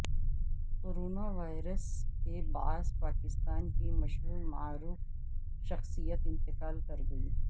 corona virus کے باعث پاکستان کی مشہور ومعروف شخصیت انتقال کرگئی